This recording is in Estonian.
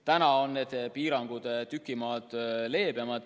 Nüüd on need piirangud tüki maad leebemad.